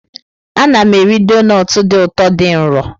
Ana m eri donut dị ụtọ dị nro.